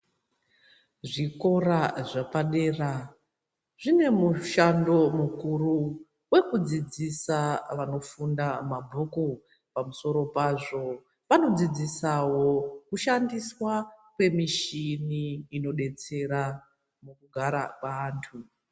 Zvikora zvapadera zvine mushando mukuru wekudzidzisa vanofunda mabhuku pamusoro pazvo vanodzidzisawo kushandiswa kwemichini inodetsera mugara kweantu.